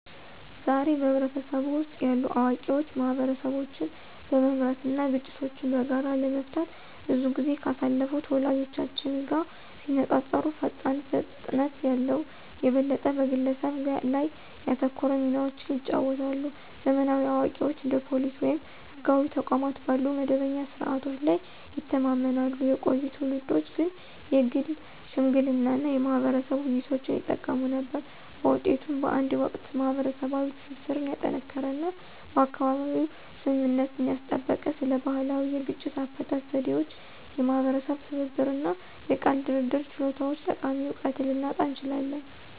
ዛሬ፣ በህብረተሰቡ ውስጥ ያሉ አዋቂዎች ማህበረሰቦችን በመምራት እና ግጭቶችን በጋራ ለመፍታት ብዙ ጊዜ ካሳለፉት ወላጆቻችን ጋር ሲነፃፀሩ ፈጣን ፍጥነት ያለው፣ የበለጠ በግለሰብ ላይ ያተኮረ ሚናዎችን ይጫወታሉ። ዘመናዊ አዋቂዎች እንደ ፖሊስ ወይም ህጋዊ ተቋማት ባሉ መደበኛ ስርዓቶች ላይ ይተማመናሉ፣ የቆዩ ትውልዶች ግን የግል ሽምግልና እና የማህበረሰብ ውይይቶችን ይጠቀሙ ነበር። በውጤቱም፣ በአንድ ወቅት ማህበረሰባዊ ትስስርን ያጠናከረ እና በአካባቢው ስምምነትን ያስጠበቀ ስለ ባህላዊ የግጭት አፈታት ዘዴዎች፣ የማህበረሰብ ትብብር እና የቃል ድርድር ችሎታዎች ጠቃሚ እውቀትን ልናጣ እንችላለን።